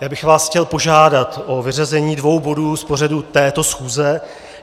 Já bych vás chtěl požádat o vyřazení dvou bodů z pořadu této schůze.